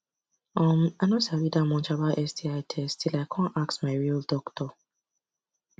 um i no sabi that much about sti test till i come ask my real doctor